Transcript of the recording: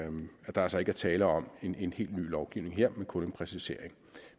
der altså ikke er tale om en helt ny lovgivning her men kun en præcisering